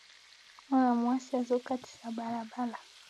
Mwana mwasi azokatisa balabala